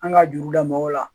An ka juru la mɔgɔw la